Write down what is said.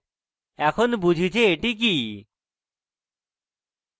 এখন বুঝি যে এটি কি